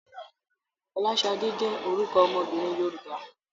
Fọláṣadé jẹ́ orúkọ ọmọbìnrin Yorùbá.